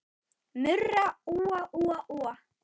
Murra úa, úa, úa.